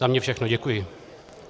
Za mě všechno, děkuji.